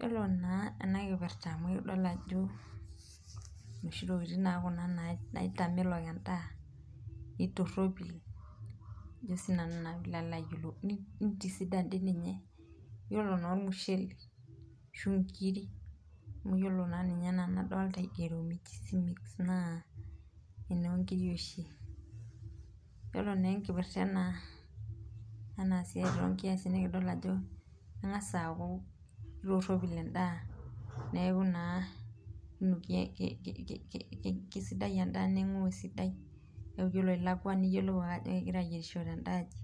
Yiolo naa ena kipirta amu keitodolu ajo noshi tokiting naa kuna naitamelok endaa neitoropil ajo naa sii nanu pee ilo ayiolou ,keitisidan doi ninye ,yiolo naa ormushele ashu nkiri amu yiolo naa ninye enaa enadolita ajo keigero mix naa enoonkiri oshi ,yiolo naa enkipirta ena toonkiasin naa ekidol ajo kengasi aaku keitoropil enda neeku naaa keisidai endaa neingou esiadi, keku ore ilakwa yiolou ake ajo kegirae ayierisho tendaaji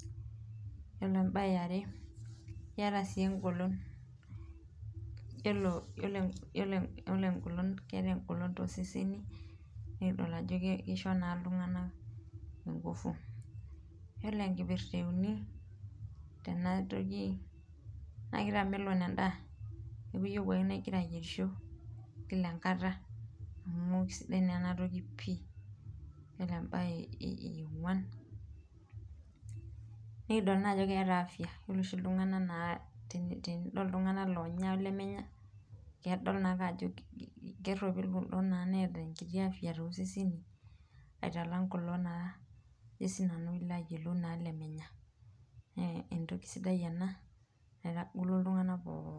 yiolo em, bae eare keeta sii engolon yiolo keeta engolon tooseseni naa kisho naa iltunganak inkufu .yiolo enkipirta euni tenatoki naa kitamelon endaa neeku iyieu ake naaa ingira ayierisho kila enkata amu keisidai naa ena toki pei .yiolo embae eogwan nikidol naa ajo keeta afya yiolo oshi iltunganak loonya olemenya idol ake ajo keeta enkiti afya toseseni alangu naa kulo lemenya naa entoki sidai ena naitagolo ltunganak pookin.